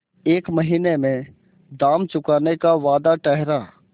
एक महीने में दाम चुकाने का वादा ठहरा